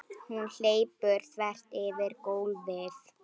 Hún hleypur þvert yfir gólfið.